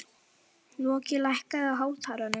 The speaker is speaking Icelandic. Loki, lækkaðu í hátalaranum.